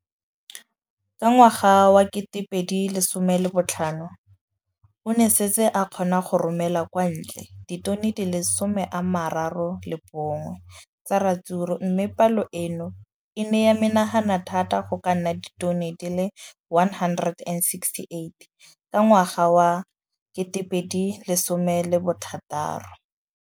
Ka ngwaga wa 2015, o ne a setse a kgona go romela kwa ntle ditone di le 31 tsa ratsuru mme palo eno e ne ya menagana thata go ka nna ditone di le 168 ka ngwaga wa 2016.